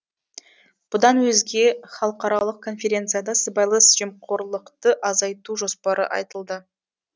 бұдан өзге халықаралық конференцияда сыбайлас жемқорлықты азайту жоспары айтылды